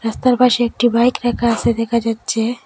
জুতার পাশে একটি বাইক রাখা আসে দেখা যাচ্ছে।